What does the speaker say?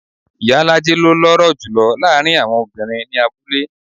Ìyálájé ló lọ́rọ̀ jùlo láàárín àwọn obìnrin ní abúlé.